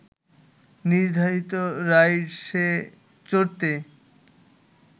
নির্ধারিত রাইডসে চড়তে